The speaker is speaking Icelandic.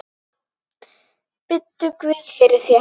Biddu guð fyrir þér.